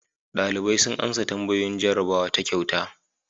Dalibai sun amsa tambayoyin jarrabawa ta kyauta.